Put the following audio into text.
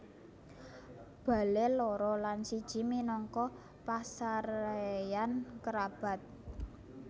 Bale loro lan siji minangka pasareyan kerabat